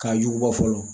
K'a jugu bɔ fɔlɔ